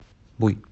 буй